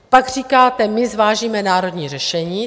Pak říkáte: my zvážíme národní řešení.